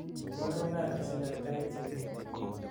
iborwon kalaisiek ab tait chemi